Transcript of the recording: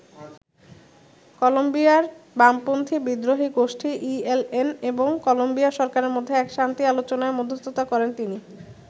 কলম্বিয়ার বামপন্থী বিদ্রোহী গোষ্ঠী ইএলএন এবং কলম্বিয়া সরকারের মধ্যে এক শান্তি আলোচনায় মধ্যস্থতা করেন তিনি।